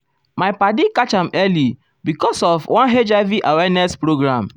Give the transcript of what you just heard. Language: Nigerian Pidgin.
my padi catch am early because um of one hiv awareness program.